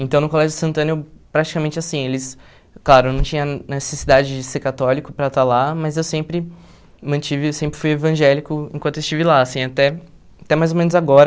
Então, no Colégio Santana eu praticamente assim, eles... Claro, não tinha necessidade de ser católico para estar lá, mas eu sempre mantive, sempre fui evangélico enquanto estive lá, assim, até até mais ou menos agora.